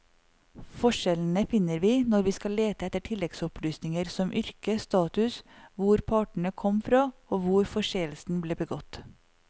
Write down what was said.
Forskjellene finner vi når vi skal lete etter tilleggsopplysninger som yrke, status, hvor partene kom fra og hvor forseelsen ble begått.